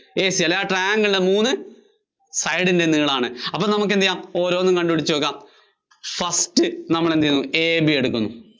AC അല്ലേ? ആ triangle ന്‍റെ മൂന്ന് side കള്‍ ആണ്. അപ്പോ നമുക്ക് എന്ത് ചെയ്യാം ഓരോന്നും കണ്ടുപിടിച്ചുനോക്കാം. first നമ്മള്‍ എന്ത് എടുക്കുന്നു? AB എടുക്കുന്നു.